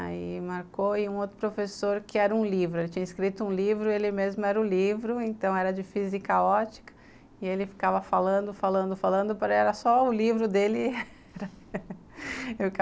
Aí marcou, e um outro professor que era um livro, ele tinha escrito um livro, ele mesmo era o livro, então era de física ótica, e ele ficava falando, falando, falando, era só o livro dele